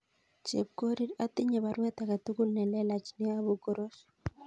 Chepkorir atinye baruet age tugul nelelach neyobu Koros